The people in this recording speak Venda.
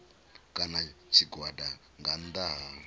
kana tshigwada nga nnḓa ha